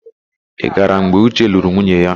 Ị gara mgbe Uche lụrụ nwunye ya?